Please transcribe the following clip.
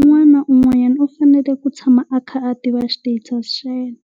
Un'wana na un'wana u fanele ku tshama a kha a tiva status xa yena,